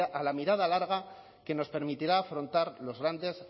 a la mirada larga que nos permitirá afrontar los grandes